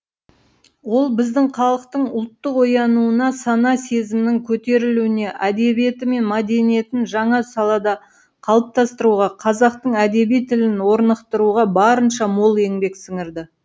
ол біздің халықтың ұлттық оянуына сана сезімінің көтерілуіне әдебиеті мен мәдениетін жаңа сапада қалыптастыруға қазақтың әдеби тілін орнықтыруға барынша мол еңбек сіңірді